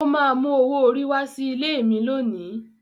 Ó máa mú owó orí wá sí ilé mi lónìí.